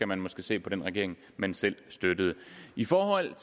man måske se på den regering man selv støttede i forhold